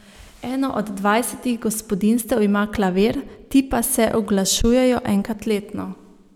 Eno od dvajsetih gospodinjstev ima klavir, ti pa se uglašujejo enkrat letno.